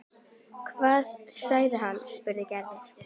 Hvað sagði hann? spurði Gerður.